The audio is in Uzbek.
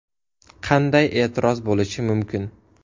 Qanday e’tiroz bo‘lishi mumkin?!